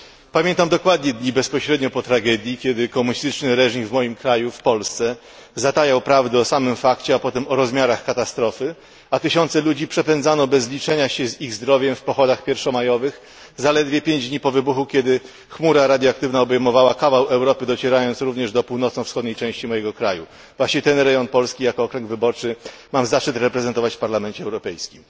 Pamiętam dokładnie dni bezpośrednio po tragedii, kiedy komunistyczny reżim w moim kraju, w Polsce, zatajał prawdę o samym fakcie, a potem o rozmiarach katastrofy, a tysiące ludzi przepędzano bez liczenia się z ich zdrowiem w pochodach pierwszomajowych, zaledwie pięć dni po wybuchu, kiedy chmura radioaktywna obejmowała kawał Europy, docierając również do północnowschodniej części mojego kraju właśnie ten rejon Polski jako okręg wyborczy mam zaszczyt reprezentować w Parlamencie Europejskim.